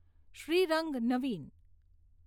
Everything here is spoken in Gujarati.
શ્રીરંગ, નવીન